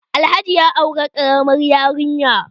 Alhaji ya aure ƙaramar yarinya